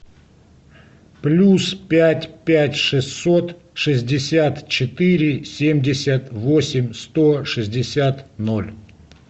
плюс пять пять шестьсот шестьдесят четыре семьдесят восемь сто шестьдесят ноль